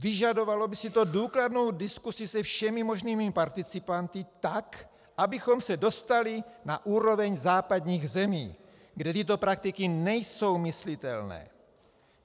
Vyžadovalo by si to důkladnou diskuzi se všemi možnými participanty, tak abychom se dostali na úroveň západních zemí, kde tyto praktiky nejsou myslitelné.